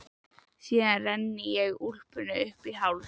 Síðan renni ég úlpunni upp í háls.